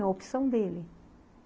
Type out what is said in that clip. É uma opção dele.